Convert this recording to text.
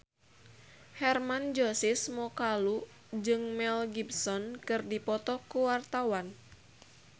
Hermann Josis Mokalu jeung Mel Gibson keur dipoto ku wartawan